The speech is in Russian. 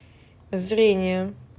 зрение